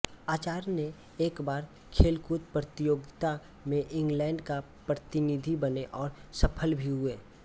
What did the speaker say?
Archer ने एक बार खेलकूद प्रतियोगिता में इंग्लेंड का प्रतिनिधी बने और सफल भी हुए